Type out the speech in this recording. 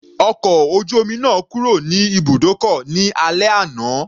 Ọkọ̀ ojú omi náà kúrò ní ibùdókọ̀ ní alẹ́ àná.